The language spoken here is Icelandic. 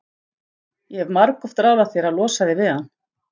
Ég hef margoft ráðlagt þér að losa þig við hann.